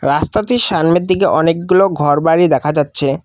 রাস্তাটির সানমের দিকে অনেকগুলো ঘরবাড়ি দেখা যাচ্ছে।